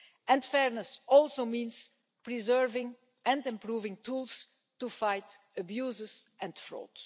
And fairness also means preserving and improving tools to fight abuses and fraud.